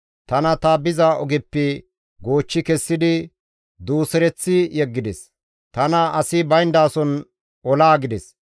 Tana ta biza ogeppe goochchi kessidi duusereththi yeggides; tana asi bayndason olaagides.